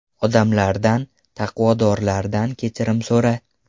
Odamlardan, taqvodorlardan kechirim so‘ra.